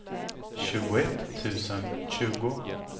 tjugoett tusen tjugo